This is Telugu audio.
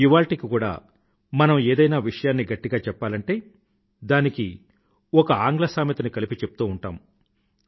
ఇవాళ్టికి కూడా మనం ఏదైనా విషయాన్ని గట్టిగా చెప్పాలంటే దానికి ఒక ఆంగ్ల సామెతని కలిపి చెప్తూ ఉంటాము